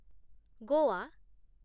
Goa